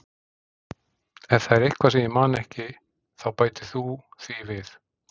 Ef það er eitthvað sem ég man ekki þá bætir þú því við.